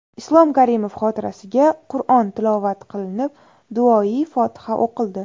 Islom Karimov xotirasiga Qur’on tilovat qilinib, duoi fotiha o‘qildi.